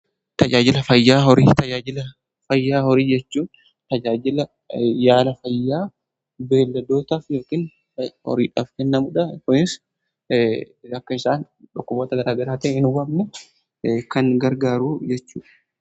Tajaajila fayyaa horii: Tajaajila fayyaa horii jechuun tajaajila yaala fayyaa beelladootaaf yookaan horiidhaaf kennamuudha. Kunis akka isaan dhokkuboota gara garaatiin hin hubamne kan gargaaru jechuudha.